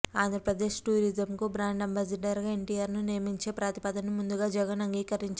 ఆంధ్రప్రదేశ్ టూరిజంకు brand ambassador గా ఎన్టీఆర్ ను నియమించే ప్రతిపాదనను ముందుగా జగన్ అంగీకరించాలి